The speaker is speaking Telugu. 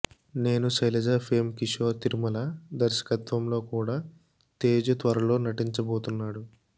నేను శైలజ ఫేమ్ కిషోర్ తిరుమల దర్శకత్వంలో కూడా తేజు త్వరలో నటించబోతున్నాడు